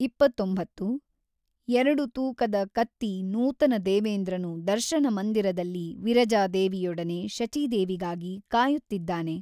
ಇಪ್ಪತ್ತೊಂಬತ್ತು ಎರಡು ತೂಕದ ಕತ್ತಿ ನೂತನ ದೇವೇಂದ್ರನು ದರ್ಶನಮಂದಿರದಲ್ಲಿ ವಿರಜಾದೇವಿಯೊಡನೆ ಶಚೀದೇವಿಗಾಗಿ ಕಾಯುತ್ತಿದ್ದಾನೆ.